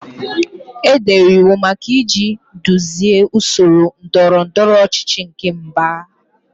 Edere iwu maka iji duzie usoro ndọrọ ndọrọ ọchịchị nke mba.